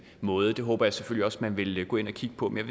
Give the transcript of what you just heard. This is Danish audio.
måde og det håber jeg selvfølgelig også at man vil gå ind og kigge på men